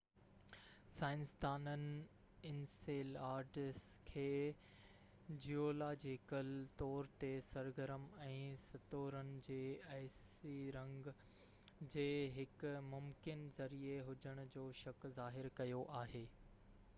سائنسدانن انسيلاڊس کي جيولاجيڪل طور تي سرگرم ۽ ستورن جي آئسي رنگ جي هڪ ممڪن ذريعي هجڻ جو شڪ ظاهر ڪيو آهي